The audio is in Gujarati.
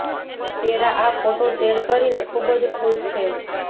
સેરા આ ફોટો શેર કરીને ખુબ જ ખુશ છે